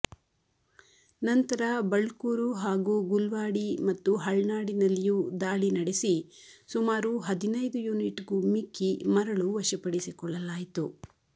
ನಂತರ ಬಳ್ಕೂರು ಹಾಗೂ ಗುಲ್ವಾಡಿ ಮತ್ತು ಹಳ್ನಾಡಿನಲ್ಲಿಯೂ ದಾಳಿ ನಡೆಸಿ ಸುಮಾರು ಹದಿನೈದು ಯೂನಿಟ್ಗೂ ಮಿಕ್ಕಿ ಮರಳು ವಶಪಡಿಸಿಕೊಳ್ಳಲಾಯಿತು